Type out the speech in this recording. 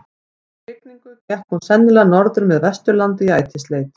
Eftir hrygningu gekk hún sennilega norður með Vesturlandi í ætisleit.